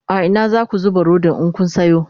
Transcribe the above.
a Ina zaku zuba Rodin in Kun Sayo?